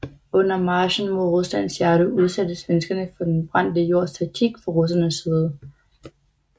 Under marchen mod Ruslands hjerte udsattes svenskerne for den brændte jords taktik fra russernes side